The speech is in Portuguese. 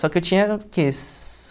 Só que eu tinha, o quê?